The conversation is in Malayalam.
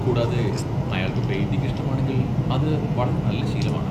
കൂടാതെ, അയാൾക്ക് പെയിന്റിംഗ് ഇഷ്ടമാണെങ്കിൽ, അത് വളരെ നല്ല ശീലമാണ്.